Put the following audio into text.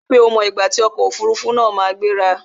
Ri pé o mọ ìgbà tí ọkò òfurufú na ma gbéra!